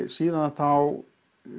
síðan þá